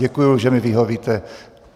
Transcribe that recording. Děkuji, že mi vyhovíte.